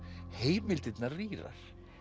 heimildirnar rýrar